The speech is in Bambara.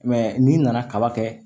n'i nana kaba kɛ